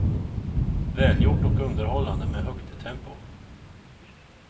Välgjort och underhållande med högt tempo.